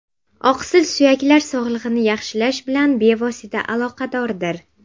Oqsil suyaklar sog‘lig‘ini yaxshilash bilan bevosita aloqadordir.